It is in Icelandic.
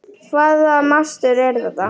Hvaða mastur er þetta?